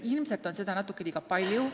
Ilmselt on seda natuke liiga palju.